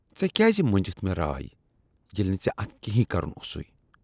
ژے کیازِ منجِتھ مےٚ راے ییلِہ نہٕ ژےٚ اتھ کِہٕنۍ کرُن اوسُے ۔